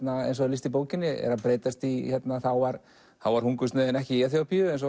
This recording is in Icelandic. eins og er lýst í bókinni er að breytast í þá var þá var hungursneyðin ekki í Eþíópíu eins og